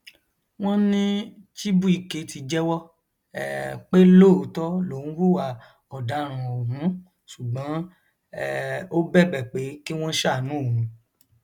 wọn ní chibuike ti jẹwọ um pé lóòótọ lòún hùwà ọdarùn ọhún ṣùgbọn um ó bẹbẹ pé kí wọn ṣàánú òun